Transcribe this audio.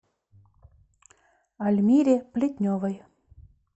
альмире плетневой